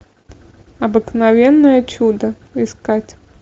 обыкновенное чудо искать